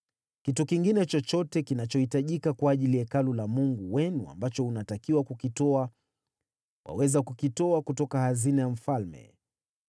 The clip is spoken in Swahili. Kitu kingine chochote kinachohitajika kwa ajili ya Hekalu la Mungu wenu ambacho unatakiwa kukitoa, waweza kukitoa kutoka hazina ya mfalme.